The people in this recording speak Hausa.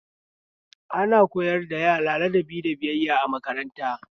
Ana koyar da yara ladabi da biyayya a makaranta